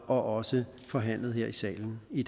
også forhandlet her i salen i